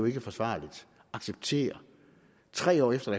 jeg forsvarligt acceptere tre år efter